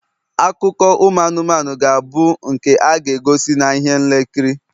akụkọ ụmụ anụmanụ ga-abụ nke a ga-egosi na ihe nlekiri